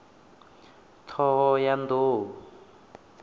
thohoyandou